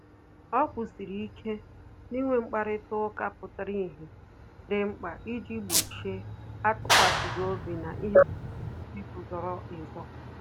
O kwụsịrị ike na inwe mkparịta ụka pụtara ìhè dị mkpa iji gbochie atukwasighi obi na ihe gbasara ego zoro ezo